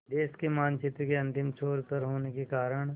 देश के मानचित्र के अंतिम छोर पर होने के कारण